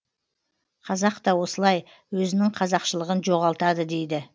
қазақ та осылай өзінің қазақшылығын жоғалтады дейді